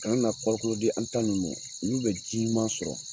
Kana na kɔrikolo di an tan ninnu mɔ olu bɛ ji ɲuman sɔrɔ